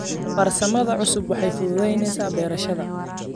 Farsamada cusubi waxay fududaynaysaa beerashada.